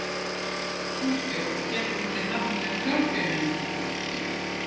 Sú stjórn gekk undir nafninu þrjátíumenningarnir.